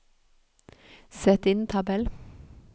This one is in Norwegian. Sett inn tabell